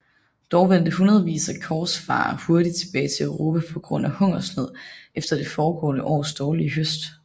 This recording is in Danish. Dog vendte hundredvis af korsfarere hurtigt tilbage til Europa på grund af hungersnød efter det foregående års dårlige høst